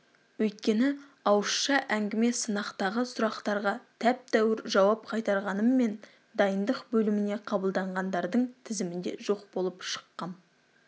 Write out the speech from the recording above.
өйткені ауызша әңгіме-сынақтағы сұрақтарға тәп-тәуір жауап қайтарғаныммен дайындық бөліміне қабылданғандардың тізімінде жоқ болып шыққам